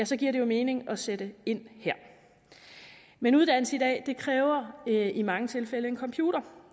så giver det jo mening at sætte ind her men uddannelse i dag kræver i mange tilfælde en computer